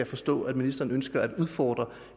forstå at ministeren ønsker at udfordre